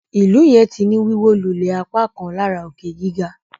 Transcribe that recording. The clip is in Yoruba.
ilú yen tí ní Wíwólulẹ̀ apákan lára òkè-gíga.